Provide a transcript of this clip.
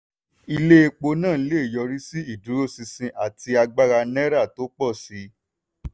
ilé epo náà lè yọrí sí ìdúróṣinṣin àti agbára náírà tó pọ̀ sí i.